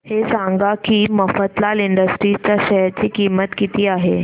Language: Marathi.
हे सांगा की मफतलाल इंडस्ट्रीज च्या शेअर ची किंमत किती आहे